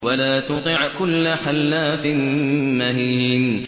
وَلَا تُطِعْ كُلَّ حَلَّافٍ مَّهِينٍ